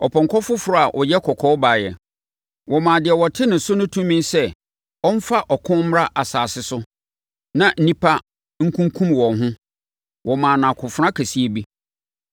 Ɔpɔnkɔ foforɔ a ɔyɛ kɔkɔɔ baeɛ. Wɔmaa deɛ ɔte ne so no tumi sɛ ɔmfa ɔko mmra asase so na nnipa nkunkum wɔn ho. Wɔmaa no akofena kɛseɛ bi.